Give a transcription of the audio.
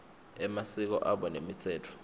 emasiko abo nemitsetfo